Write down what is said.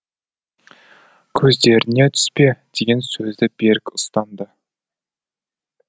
көздеріне түспе деген сөзді берік ұстанды